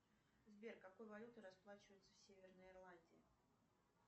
сбер какой валютой расплачиваются в северной ирландии